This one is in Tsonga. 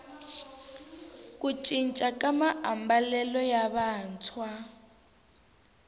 ku cinca ka maambalelo ya vantshwa